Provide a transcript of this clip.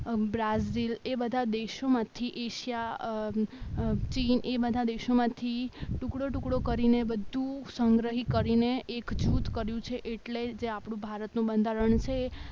Brazil એ બધા દેશોમાંથી એશિયા ચીન એ બધા દેશોમાંથી ટુકડો ટુકડો કરીને બધું સંગ્રહિત કરીને એક જૂથ કર્યું છે એટલે જે આપણું ભારતનું બંધારણ છે